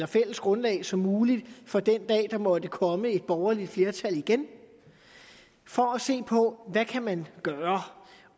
fælles grundlag som muligt for den dag der måtte komme et borgerligt flertal igen for at se på hvad man kan gøre